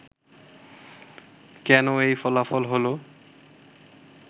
কেন এই ফলাফল হলো